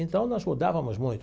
Então, nós mudávamos muito.